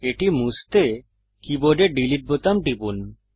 এটি মুছতে কীবোর্ডে ডিলিট বোতাম টিপুন